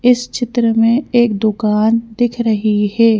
इस चित्र मे एक दुकान दिख रही है।